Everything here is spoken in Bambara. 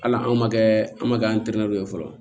Hali anw ma kɛ an ma kɛ an tɛrɛ ye fɔlɔ